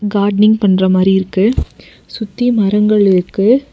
Gardening பண்ற மாரி இருக்கு சுத்தி மரங்கள் இருக்கு.